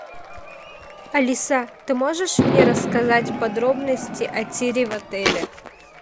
алиса ты можешь мне рассказать подробности о тире в отеле